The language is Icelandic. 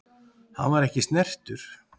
Hann var ekki snertur.